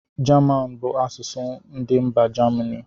German bụ asụsụ ndị mba germany